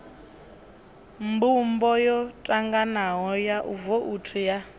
mbumbo yotanganaho ya vouthu ya